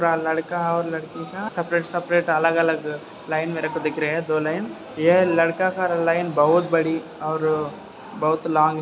लड़का और लड़की का सेपरेट सेपरेट अलग-अलग लाइन मेरेको दिख रही दो लाइन ये लड़का का लाइन बहुत बढी और बहुत लॉन्ग --